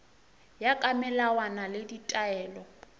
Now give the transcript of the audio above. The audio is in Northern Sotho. ya ka melawana le ditaelo